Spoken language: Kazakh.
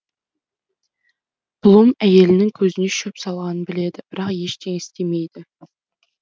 блум әйелінің көзіне шөп салғанын біледі бірақ ештеңе істемейді